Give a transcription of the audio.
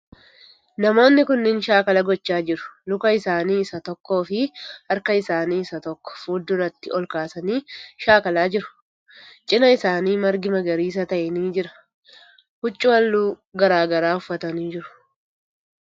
Namootni kunniin shaakkala gochaa jiru. Luka isaanii isa tokkoo fii harka isaanii isa tokko fuulduratti olkaasanii shaakkalaa jiru. Cinaa isaanii margi magariisa ta'e ni jira. Huccuu haalluu garagaraa uffatanii jiru.